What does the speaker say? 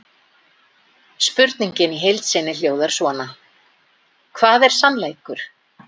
Í þessu felst eina skýra merkingin sem hægt er að gefa orðunum annar heimur.